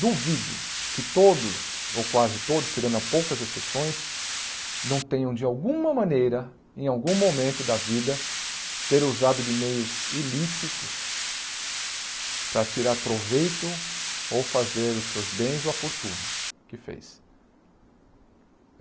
Duvido que todos ou quase todos, tirando poucas exceções, não tenham de alguma maneira, em algum momento da vida, ter usado de meios ilícitos para tirar proveito ou fazer os seus bens ou a fortuna que fez.